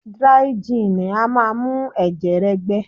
Díríí jin a mu ẹ̀jẹ̀ rẹ gbẹ.